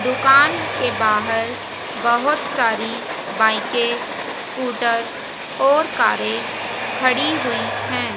दुकान के बाहर बहुत सारी बाइके स्कूटर और कारे खड़ी हुई है।